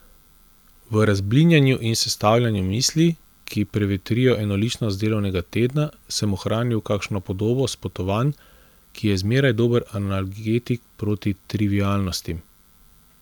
V razblinjanju in sestavljanju misli, ki prevetrijo enoličnost delovnega tedna, sem ohranil kakšno podobo s potovanj, ki je zmeraj dober analgetik proti trivialnostim.